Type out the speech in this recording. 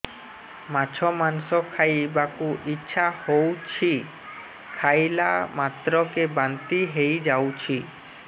ମାଛ ମାଂସ ଖାଇ ବାକୁ ଇଚ୍ଛା ହଉଛି ଖାଇଲା ମାତ୍ରକେ ବାନ୍ତି ହେଇଯାଉଛି